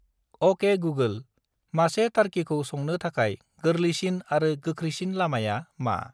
अके गुगोल, मासे टारकिखौ संनो थाखाय गोरलैसिन आरो गोख्रैसिन लामाया मा?